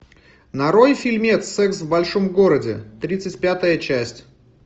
нарой фильмец секс в большом городе тридцать пятая часть